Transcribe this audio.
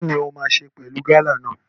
Kini o ma ṣe pẹlú gala náà?